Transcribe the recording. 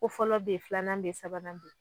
Ko fɔlɔ bɛ yen filanan bɛ yen sabanan bɛ yen